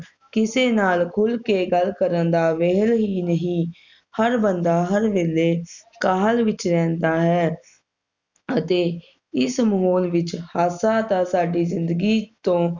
ਕਿਸੇ ਨਾਲ ਖੁਲ ਕੇ ਗੱਲ ਕਰਨ ਦਾ ਵੇਹਲ ਹੀ ਨਹੀਂ ਹਰ ਬੰਦਾ ਹਰ ਵੇਲੇ ਕਾਹਲ ਵਿਚ ਰਹਿੰਦਾ ਹੈ ਅਤੇ ਇਸ ਮਾਹੌਲ ਵਿਚ ਹਾਸਾ ਤਾ ਸਾਡੀ ਜਿੰਦਗੀ ਤੋਂ